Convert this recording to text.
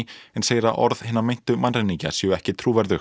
en segir að orð hinna meintu mannræningja séu ekki trúverðug